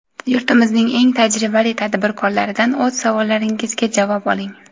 yurtimizning eng tajribali tadbirkorlaridan o‘z savollaringizga javob oling!.